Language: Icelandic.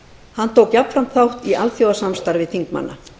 hann tók jafnframt þátt í alþjóðasamstarfi þingmanna